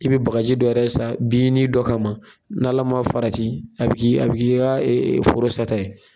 I bɛ bakaji dɔ yɛrɛ san binni dɔ kama n'Ala ma farati a bi k'i ka forosata ye.